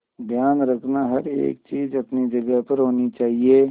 ध्यान रखना हर एक चीज अपनी जगह पर होनी चाहिए